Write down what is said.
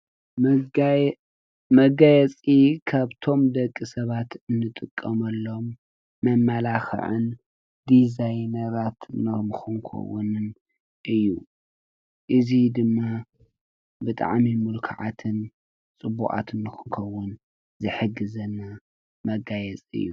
መጋየፂ ካብቶም ንደቂ ሰባት እንጥቀመሎም መማላክዕን ድዛይነራት ክንከውንን እዩ፡፡ እዚ ድማ ብጣዕሚ ምልኩዓትን ፅቡቃትን ክንከውን ዝሕግዘና መጋየፂ እዩ፡፡